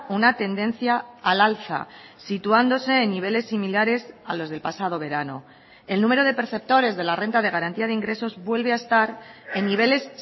una tendencia al alza situándose en niveles similares a los del pasado verano el número de perceptores de la renta de garantía de ingresos vuelve a estar en niveles